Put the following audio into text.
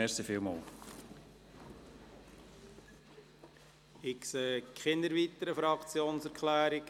Es gibt keine weiteren Fraktionserklärungen.